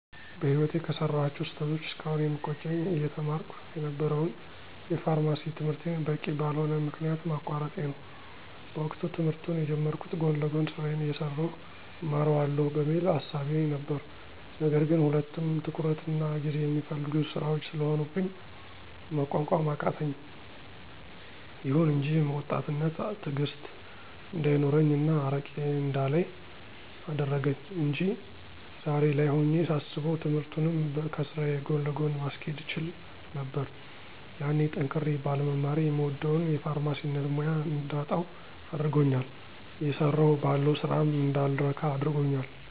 በህይወቴ ከሰራኋቸው ስህተቶች እስካሁን የሚቆጨኝ አየተማርኩ የነበረውን የፋርማሲ ትምህርቴን በቂ በልሆነ ምክንያት ማቋረጤ ነው። በወቅቱ ትምህርቱን የጀመርኩት ጎን ለጎን ስራዬን አየሠራሁ እማረዋለሁ በሚል እሳቤ ነበር ነገር ግን ሁለቱም ትኩረትና ጊዜ የሚፈልጉ ስራዎች ስለሆኑብኝ መቋቋም አቃተኝ። ይሁን እንጂ ወጣትነት ትእግስት እንዳይኖረኝ እና አርቄ እንዳላይ አደረገኝ አንጂ ዛሬ ላይ ሆኜ ሳስበው ትምህርቱንም ከስራዬ ጎን ለጎን ማስኬድ እችል ነበር። ያኔ ጠንክሬ ባለመማሬ የምወደውን የፋርማሲነት ሙያ እንዳጣው አድርጎኛል እየሰራሁ ባለው ስራም እንዳልረካ አድርጎኛል።